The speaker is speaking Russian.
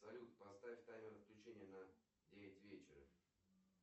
салют поставь таймер отключения на девять вечера